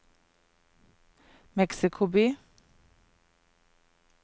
Mexico by